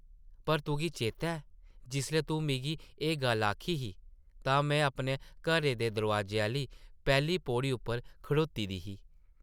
पर तुगी चेतै ऐ जिसलै तूं मिगी एह् गल्ल आखी ही तां में अपने घरै दे दरोआजे आह्ली पैह्ली पौड़ी उप्पर खड़ोती ही ।